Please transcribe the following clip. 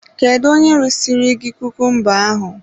Kedu onye resiri gị kukumba ahụ?